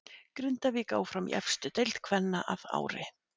Grindavík áfram í efstu deild kvenna að ári.